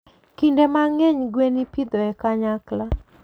Kinde mang'eny, gwen ipidho e kanyakla.